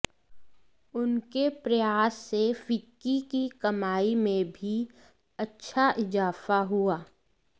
उनके प्रयास से फिक्की की कमाई में भी अच्छा इजाफा हुआ